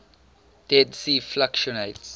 dead sea fluctuates